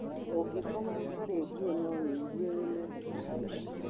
ũngĩkoma ũtarĩ ngũo no wĩigũe wĩ mũohoku bĩũ